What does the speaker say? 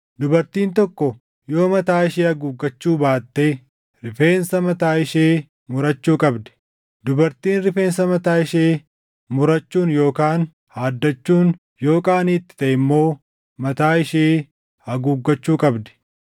Dubartiin tokko yoo mataa ishee haguuggachuu baatte rifeensa mataa ishee murachuu qabdi; dubartiin rifeensa mataa ishee murachuun yookaan haaddachuun yoo qaanii itti taʼe immoo mataa ishee haguuggachuu qabdi.